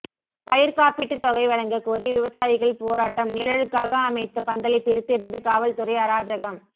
பயிர்க் காப்பீட்டுத் தொகை வழங்கக் கோரி விவசாயிகள் போராட்டம் நிழலுக்காக அமைத்த பந்தலை பிரித்தெறிந்து காவல்துறை அராஜகம்